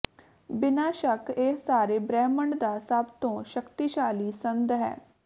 ਬਿਨਾਂ ਸ਼ੱਕ ਇਹ ਸਾਰੇ ਬ੍ਰਹਿਮੰਡ ਦਾ ਸਭ ਤੋਂ ਸ਼ਕਤੀਸ਼ਾਲੀ ਸੰਦ ਹੈ